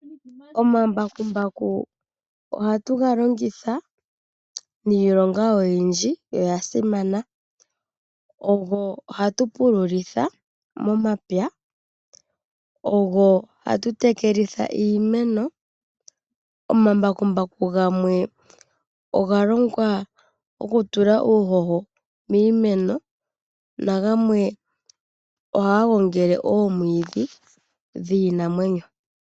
Omambakumbaku ohatu ga longitha niilonga oyindji yo oya simana. Ogo hatu pululitha momapya, ogo hatu tekelitha iimeno. Omambakumbaku gamwe oga longwa gokutula uuhoho miimeno nagamwe ohaga gongele oomwiidhi dhiinamwenyo.